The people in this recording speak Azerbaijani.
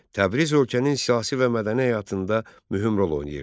Təbriz ölkənin siyasi və mədəni həyatında mühüm rol oynayırdı.